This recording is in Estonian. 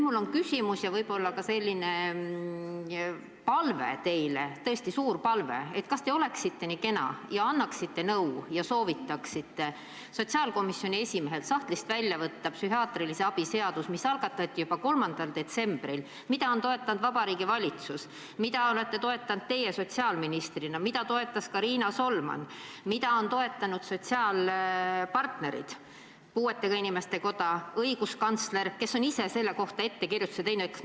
Mul on küsimus ja võib-olla ka palve teile, tõesti suur palve: kas te oleksite nii kena ja annaksite nõu ja soovitaksite sotsiaalkomisjoni esimehel sahtlist välja võtta psühhiaatrilise abi seaduse, mis algatati juba 3. detsembril, mida on toetanud Vabariigi Valitsus, mida olete toetanud teie sotsiaalministrina, mida on toetanud ka Riina Solman, mida on toetanud sotsiaalpartnerid, puuetega inimeste koda, õiguskantsler, kes on ise selle kohta ettekirjutuse teinud?